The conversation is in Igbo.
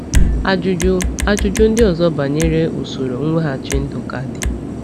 Ajụjụ Ajụjụ ndị ọzọ banyere usoro mweghachi ndụ ka dị.